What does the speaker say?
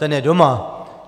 Ten je doma.